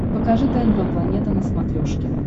покажи тнв планета на смотрешке